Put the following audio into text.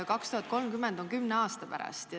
2030 on kümne aasta pärast.